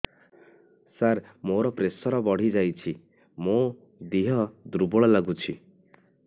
ସାର ମୋର ପ୍ରେସର ବଢ଼ିଯାଇଛି ମୋ ଦିହ ଦୁର୍ବଳ ଲାଗୁଚି